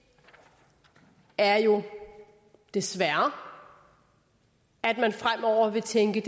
er jo desværre at man fremover vil tænke